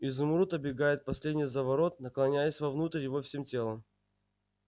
изумруд обегает последний заворот наклоняясь вовнутрь его всем телом